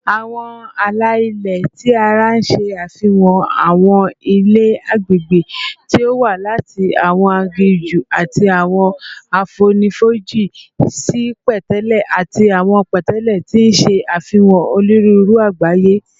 Awọn ala-ilẹ ti ara ṣe afihan awọn ilẹ agbegbe ti o wa lati awọn aginju ati awọn afonifoji si pẹtẹlẹ ati awọn pẹtẹlẹ, ti n ṣe afihan oniruuru Agbaye